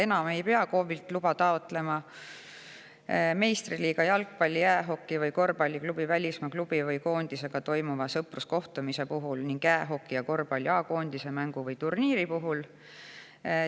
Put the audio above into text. Enam ei pea KOV-ilt luba taotlema meistriliiga jalgpalli-, jäähoki- või korvpalliklubi sõpruskohtumise puhul välismaa klubi või koondisega ning jäähoki ja korvpalli A-koondise mängu või turniiri puhul.